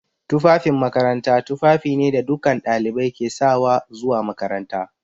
Tufafin makaranta tufafi ne da dukkan ɗalibai ke sawa zuwa makaranta.